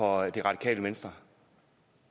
radikale venstre